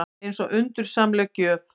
Eins og undursamleg gjöf.